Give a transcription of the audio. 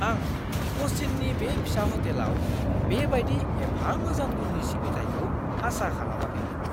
आं कचिन्नि बे फिसा हटेलाव बे बायदि एफा मोजां गुननि सिबिथाइखौ आसा खालामाखैमोन।